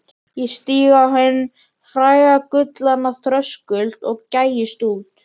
Ég stíg á hinn fræga gullna þröskuld og gægist út.